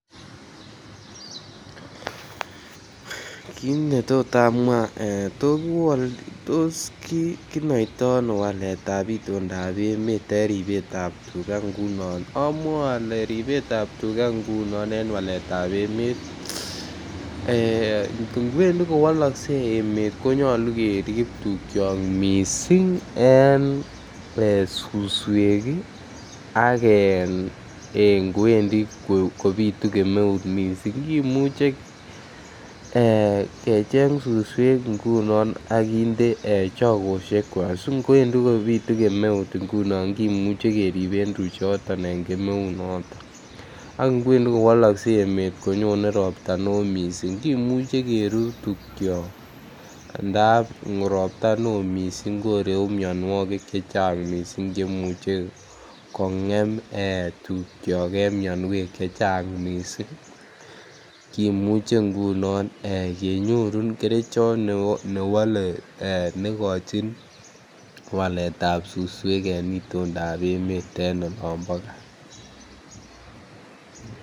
Kit netot amwa ee tos kinoitoi ano waletab itondap emet en ribetab tuga ngunon amwoe ole ribetab tuga ngunon en waletab emet ee kwendi kowolokse emet konyoluu kerib tukyok missing en suswek ii ak en kwendi kopitu kemeut missing kimuche kecheng suswek ngunon akinde chogoshekwak si kwendi kopitu kemeut ngunon kimuche keriben tuchuton en kemeut noton ak kwendi kowolokse emet konyone ropta ne oo missing kimuche kerut tukyok anan ndap ropta ne oo missing koreu mionwokik chechang missing chemuche kongem tugyok en mionwek chechang missing kimuche ngunon kenyorun kerichot newole negochin waletab suswek en itondap emet en olombo gaa